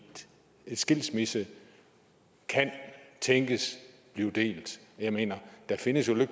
skilsmisse kan tænkes at blive delt jeg mener der findes jo